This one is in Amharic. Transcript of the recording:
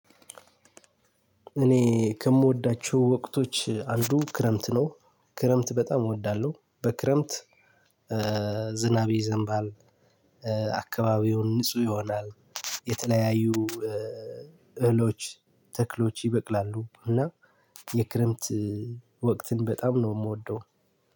እኔ ከምወዳቸው ወቅቶች አንዱ ክረምት ነው ክረምት በጣም እወዳለሁ በክረምት ዝናብ ይዘንባል አካባቢውን ንጹህ ይሆናል የተለያዩ እህሎች ተክሎች ይበቅላሉ እና የክረምት ወቅትን በጣም ነው የምወደው።